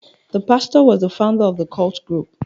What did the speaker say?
The pastor was the founder of the cult group.